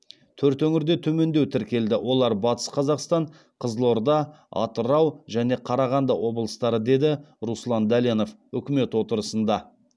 төрт өңірде төмендеу тіркелді олар батыс қазақстан қызылорда атырау және қарағанды облыстары деді руслан дәленов үкімет отырысында